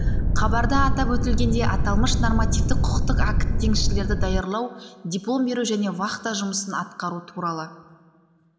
хабарда атап өтілгендей аталмыш нормативтік құқықтық акт теңізшілерді даярлау диплом беру және вахта жұмысын атқару туралы